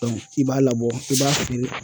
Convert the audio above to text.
i b'a labɔ i b'a feere